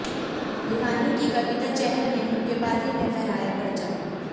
भिवानी की कविता चहल ने मुक्केबाजी में फहराया परचम